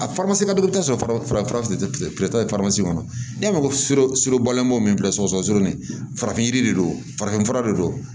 A ka dɔgɔ i bi taa sɔrɔ fara farafinfura de ye faramasi kɔnɔ n'e ma ko sɛbɛ solobalen bɔ o min filɛ sɔgɔsɔgɔnijɛ surunnin farafin yiri de don farafinfura de don